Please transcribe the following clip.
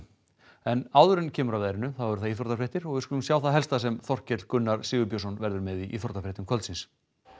en áður en kemur að veðrinu eru það íþróttafréttir við skulum sjá það helsta sem Þorkell Gunnar Sigurbjörnsson verður með í íþróttafréttum kvöldsins